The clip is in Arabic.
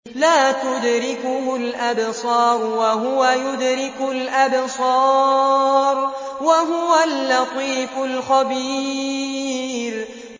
لَّا تُدْرِكُهُ الْأَبْصَارُ وَهُوَ يُدْرِكُ الْأَبْصَارَ ۖ وَهُوَ اللَّطِيفُ الْخَبِيرُ